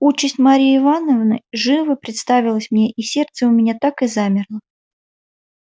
участь марьи ивановны живо представилась мне и сердце у меня так и замерло